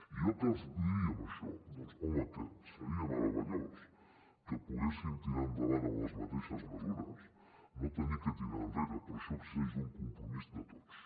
i jo què els vull dir amb això doncs home que seria meravellós que poguéssim tirar endavant amb les mateixes mesures no haver de tirar enrere però això exigeix un compromís de tots